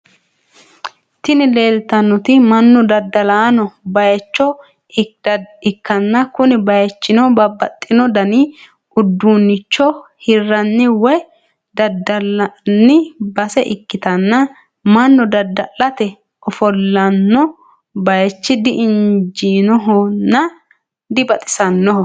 Tini leeltannoti mannu dadda'lanno bayicho ikkanna kuni bayichino babaxino dani uduunnicho hirranni woy daddalanni base ikkitana mannu dada'late ofollinno bayichi dinjinnohonna dibaxisannoho.